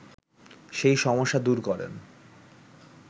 সেই সমস্যা দূর করেন